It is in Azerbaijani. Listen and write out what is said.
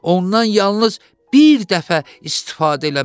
Ondan yalnız bir dəfə istifadə eləmək olar.